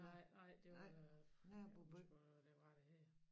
Nej nej det var jeg kan sgu ikke huske hvor det var det her